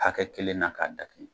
Hakɛ kelen na k'a dakɛɲɛ.